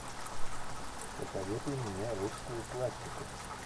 посоветуй мне русскую классику